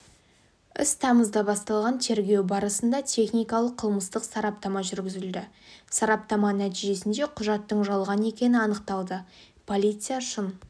іс тамызда басталған тергеу барысында техникалық-қылмыстық сараптама жүргізілді сараптама нәтижесінде құжаттың жалған екені анықталды полиция шын